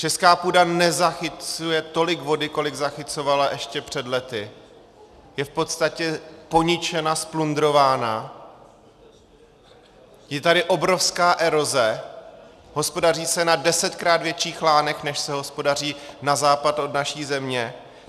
Česká půda nezachycuje tolik vody, kolik zachycovala ještě před lety, je v podstatě poničena, zplundrována, je tady obrovská eroze, hospodaří se na desetkrát větších lánech, než se hospodaří na západ od naší země.